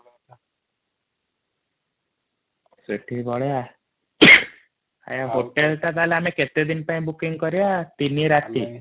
ସେଠିକି ପଳେଇବା ହୋଟେଲ ଟା ଆମେ କେତେ ଦିନ ପାଇ ବୁକିଂ କରିଆ ତିନି ରାତି |